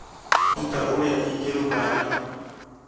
Nduta ũrĩa ingĩruga nyama